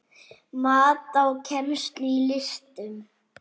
Mat á kennslu í listum